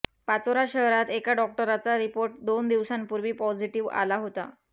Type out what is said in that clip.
पाचोरा शहरात ऐका डॉक्टराचा रिपोर्ट दोन दिवसांपूर्वी पोजिटिव्ह आला होता